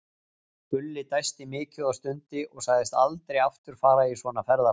Gulli dæsti mikið og stundi og sagðist aldrei aftur fara í svona ferðalag.